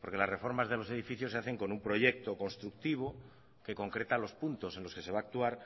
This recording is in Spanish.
porque las reformas de los edificios se hacen con un proyecto constructivo que concreta los puntos en los que se va a actuar